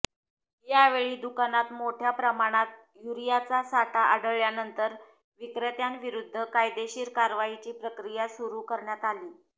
यावेळी दुकानात मोठ्या प्रमाणात युरियाचा साठा आढळल्यानंतर विक्रेत्याविरुद्ध कायदेशीर कारवाईची प्रक्रिया सुरू करण्यात आली